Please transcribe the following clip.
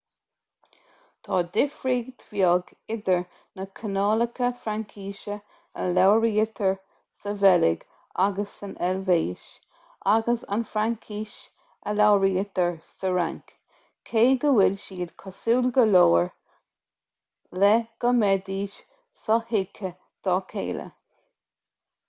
tá difríocht bheag idir na cineálacha fraincise a labhraítear sa bheilg agus san eilvéis agus an fhraincis a labhraítear sa fhrainc cé go bhfuil siad cosúil go leor le go mbeidís sothuigthe dá chéile